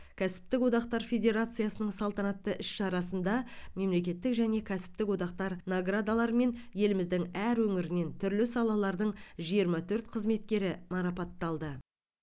кәсіптік одақтар федерациясының салтанатты іс шарасында мемлекеттік және кәсіптік одақтар наградаларымен еліміздің әр өңірінен түрлі салалардың жиырма төрт қызметкері марапатталды